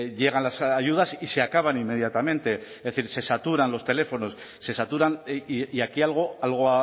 llegan las ayudas y se acaban inmediatamente es decir se saturan los teléfonos se saturan y aquí algo algo